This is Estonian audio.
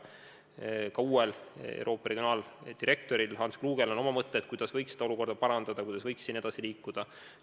Ka WHO uuel Euroopa regiooni direktoril Hans Klugel on mõtteid, kuidas seda olukorda võiks parandada, kuidas võiks edasi liikuda.